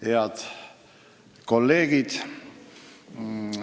Head kolleegid!